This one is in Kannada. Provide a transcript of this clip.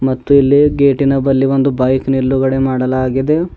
ಮತ್ತು ಇಲ್ಲಿ ಗೇಟಿನ ಬಲಿ ಒಂದು ಬೈಕ್ ನಿಲ್ಲುಗಡೆ ಮಾಡಲಾಗಿದೆ.